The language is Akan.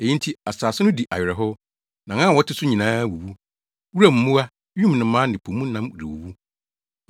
Eyi nti asase no di awerɛhow na wɔn a wɔte so nyinaa wuwu; wuram mmoa, wim nnomaa ne po mu nam rewuwu.